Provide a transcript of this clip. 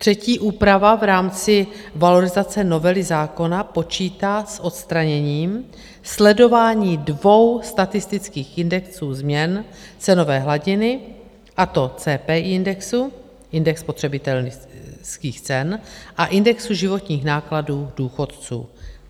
Třetí úprava v rámci valorizace novely zákona počítá s odstraněním sledování dvou statistických indexů změn cenové hladiny, a to CPI indexu, indexu spotřebitelských cen a indexu životních nákladů důchodců.